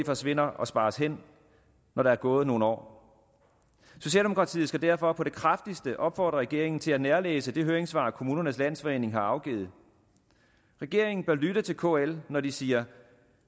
forsvinder og spares hen når der er gået nogle år socialdemokratiet skal derfor på det kraftigste opfordre regeringen til at nærlæse det høringssvar kommunernes landsforening har afgivet regeringen bør lytte til kl når de siger